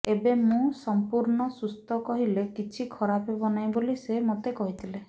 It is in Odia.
ଏବେ ମୁଁ ସଂପୂର୍ଣ୍ଣ ସୁସ୍ଥ କହିଲେ କିଛି ଖରାପ ହେବ ନାହିଁ ବୋଲି ସେ ମୋତେ କହିଥିଲେ